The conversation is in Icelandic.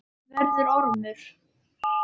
Verður ormur.